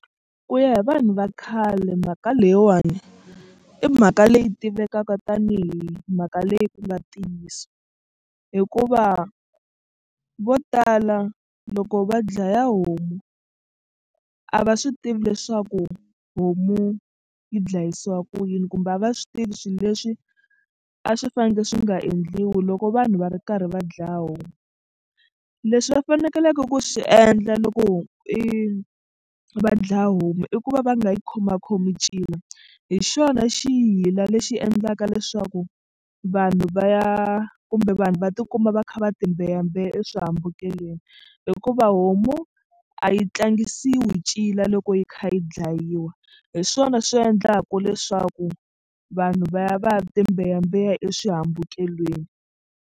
Ku ya hi vanhu va khale mhaka leyiwani i mhaka leyi tivekaka tanihi mhaka leyi ku nga ntiyiso hikuva vo tala loko va dlaya homu a va swi tivi leswaku homu yi dlayisiwa ku yini kumbe a va swi tivi swilo leswi a swi fanekele swi nga endliwi loko vanhu va ri karhi va dlaya homu. Leswi va fanekeleke ku swi endla loko ho i va dlaya homu i ku va va nga yi khomakhomi cina hi xona xiyila lexi endlaka leswaku vanhu va ya kumbe vanhu va tikuma va kha va timbeyambeya eswihambukelweni hikuva homu a yi tlangisiwi ncila loko yi kha yi dlayiwa hi swona swi endlaka leswaku vanhu va ya va ya timbeyambeya eswihambukelweni.